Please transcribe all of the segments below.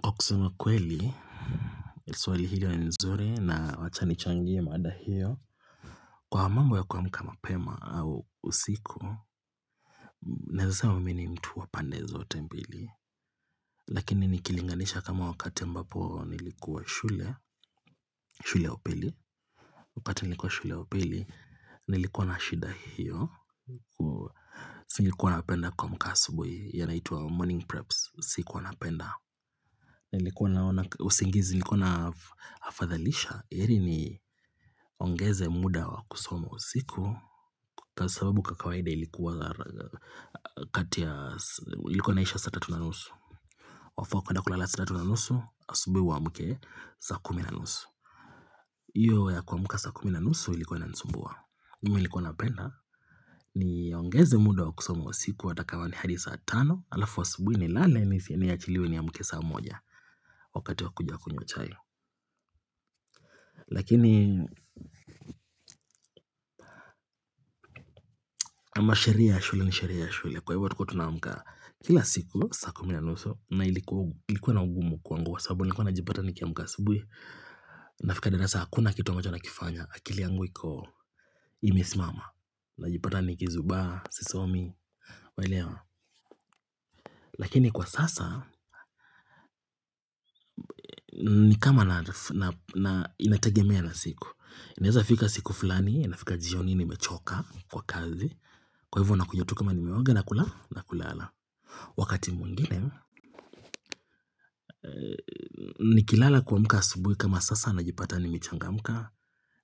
Kwa kusema kweli, swali hili ni nzuri na wacha nichangie mada hiyo. Kwa mambo ya kuamka mapema au usiku, naeza seme mi ni mtu wa pande zote mbili. Lakini nikilinganisha kama wakati ambapo nilikuwa shule, shule ya upili, wakati nilikuwa shule upili, nilikuwa na shida hiyo. Sikuwa napenda kuamka asubuhi hiyo inaitwa morning preps, sikuwa napenda. Usingizi nilikuwa naafadhalisha heri niongeze muda wa kusoma usiku Kwa sababu kwa kawaida ilikuwa kati ya Ilikuwa inaisha saa tatu na nusu Wafaa kuenda kulala saa tatu na nusu Asubuhi uamke saa kumi na nusu hiyo ya kuamka saa kumi na nusu, ilikuwa inanisumbua.mimi nilikuwa napenda niongeze muda wa kusoma usiku hata kama ni hadi saa tano halafu asubuhi nilale niachiliwe niamke saa moja. Wakati wa kuja kunywa chai Lakini ama sheria ya shule ni sheria ya shule. Kwa hivyo tulikuwa tunaamka kila siku saa kumi na nusu na ilikuwa na ugumu kwangu kwa sababu Nilikuwa najipata nikiamka asubui nafika darasa hakuna kitu ambacho nakifanya akili yangu iko imesimama Najipata nikizubaa, sisomi, waelewa? Lakini kwa sasa nikama na inategemea na siku.inaeza fika siku fulani, inafika jioni nimechoka kwa kazi. Kwa hivyo nakuja tu kama nimeoga na kula na kulala. Wakati mwngine, nikilala kuamka asubuhi kama sasa najipata nimechangamka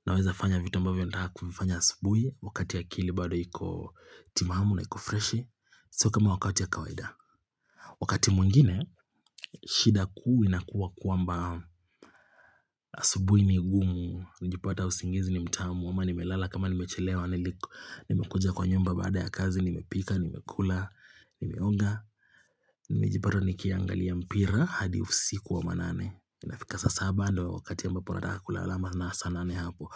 naweza fanya vitu ambavyo nataka kuvifanya asubuhi wakati akili bado iko timamu na iko freshi sio kama wakati ya kawaida. Wakati mwingine, shida kuu inakuwa kwamba asubuhi ni gumu. Najipata usingizi ni mtamu ama nimelala kama nimechelewa Nimekuja kwa nyumba baada ya kazi, Nimepika, nimekula, nimeoga Nilijipata nikiangalia mpira hadi usiku wa manane. Inafika saa saba ndo wakati ambapo nataka kulala ama na saa nane hapo.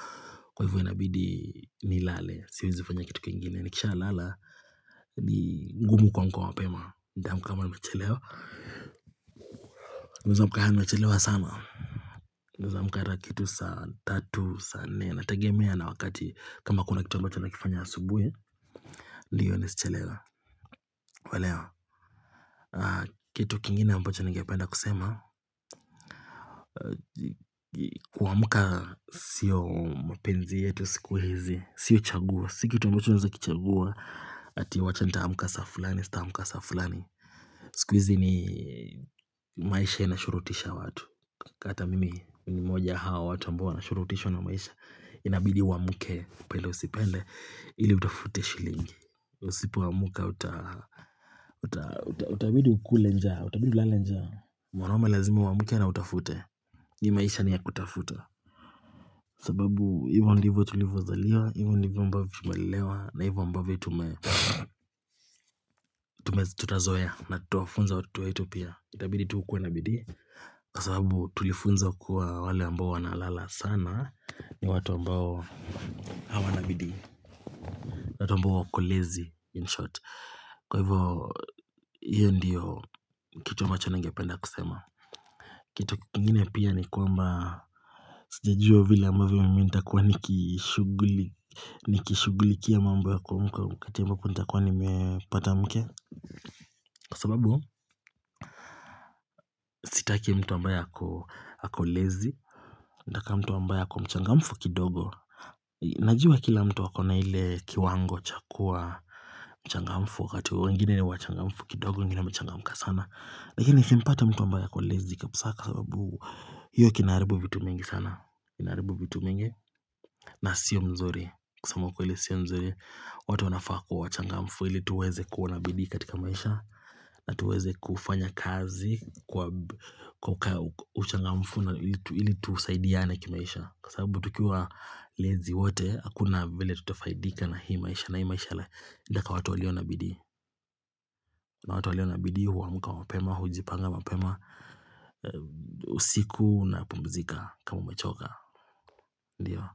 Kwa hivyo inabidi nilale Siwezi fanya kitu kingine. Nikishalala ni ngumu kumka mapema. Nitaamka kama nimechelewa. Hueza amka yaani nimechelewa sana Naeza amka hata kitu saa tatu, saa nne. Inatagemea na wakati kama kuna kitu ambacho nakifanya asubuhi ndio nisichelewe. Waelewa? Kitu kingine ambacho ningependa kusema kuamka sio mapenzi yetu siku hizi Sio chaguo, si kitu ambacho unaeza kichagua Ati wacha nitaamka saa fulani, sitaamka saa fulani siku hizi ni maishe inashurutisha watu. Hata mimi, ni mmoja hao watu ambao wanashurutishwa na maisha. Inabidi uamke upende usipende ili utafute shilingi. Usipoamka utabidi ukule njaa Utabidi ulale njaa. Mwanaume lazima uamke na utafute hii maisha ni ya kutafuta sababu hivo ndivo tulivyozaliwa Hivyo ndivo ambavyo tumelelewa. Na hivyo ambavyo tume tutazoea na tutawafunza watoto wetu pia. Itabidi tu ukuwe na bidii kww sababu tulifunzwa kuwa wale ambao wanalala sana ni watu ambao hawana bidii watu ambao wako lazy in short. Kwa hivyo hiyo ndiyo kitu ambacho ningependa kusema kitu kingine pia ni kwamba sijajua vile ambavyo mimi nitakuwa nikishughuli nikishughulikia mambu ya kumka wakati ambapo nitakuwa nimepata mke kwa sababu sitaki mtu ambaye ako lazy.nataka mtu ambaye ako mchangamfu kidogo najua kila mtu akona ile kiwango cha kuwa mchangamfu wakati wengine ni wachangamfu kidogo wengine wamechangamka sana lakini nisimpate mtu ambaye ako lazy kabisa kwa sababu hiyo kinaharibu vitu mingi sana na sio mzuri kusema ukweli sio mzuri watu wanafaa kuwa wachangamfu ili tuweze kuona bidii katika maisha na tuweze kufanya kazi kwa kwa uchangamfu ili tusaidiane kimaisha sababu tukiwa lazy wote hakuna vile tutafaidika na hii maisha na hii maisha inataka watu walio na bidii na watu walio na bidii huamka mapema, hujipanga mapema usiku napumzika kama umechoka Ndiyo.